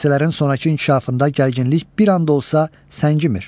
Hadisələrin sonrakı inkişafında gərginlik bir an da olsa səngimir.